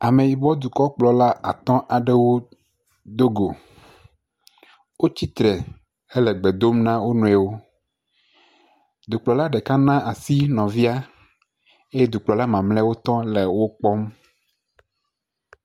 Ameyibɔdukɔkplɔla atɔ̃ aɖewo do go, wotsi tre hele gbe dom na wo, dukplɔla ɖeka na asi nɔvia eye dukplɔla mamlɛwo tɔ le wo kpɔm.